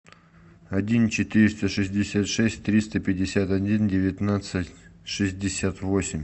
один четыреста шестьдесят шесть триста пятьдесят один девятнадцать шестьдесят восемь